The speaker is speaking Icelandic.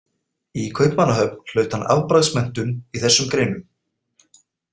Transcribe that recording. Í Kaupmannahöfn hlaut hann afbragðsmenntun í þessum greinum.